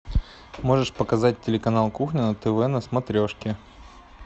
можешь показать телеканал кухня на тв на смотрешке